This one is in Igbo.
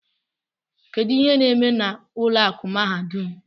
Kedu ihe na-eme na ụlọ akụ mahadum?